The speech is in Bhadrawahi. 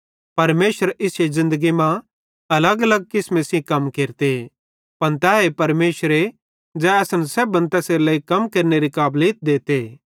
परमेशर इश्शे ज़िन्दगी मां अलगअलग किसमे सेइं कम केरते पन तैए परमेशर ज़ै असन सेब्भन तैसेरेलेइ कम केरनेरी काबलीत देते